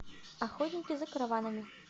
охотники за караванами